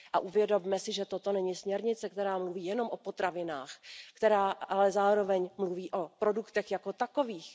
Uvědomme si, že toto není směrnice, která mluví jenom o potravinách, která ale zároveň mluví o produktech jako takových.